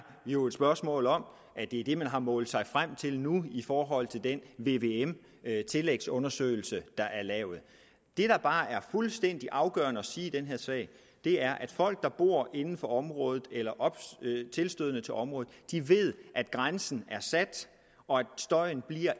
jo et spørgsmål om at det er det man har målt sig frem til nu i forhold til den vvm tillægsundersøgelse der er lavet det der bare er fuldstændig afgørende at sige i den her sag er at folk der bor inden for området eller tilstødende til området ved at grænsen er sat og at støjen